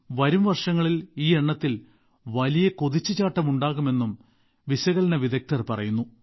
വരും വർഷങ്ങളിൽ ഈ എണ്ണത്തിൽ വലിയ കുതിച്ചുചാട്ടമുണ്ടാകുമെന്നും വിശകലന വിദഗ്ദ്ധർ പറയുന്നു